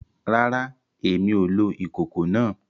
Rárá, Èmí o lò ìkòkò náà